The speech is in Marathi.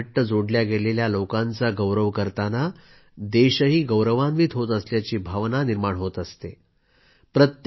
या मातीशी घट्ट जोडले गेलेल्या लोकांचा गौरव करताना देशही गौरवान्वित होत असल्याची भावना निर्माण होत असते